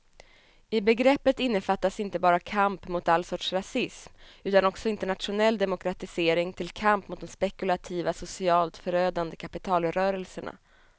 I begreppet innefattas inte bara kamp mot all sorts rasism utan också internationell demokratisering till kamp mot de spekulativa, socialt förödande kapitalrörelserna.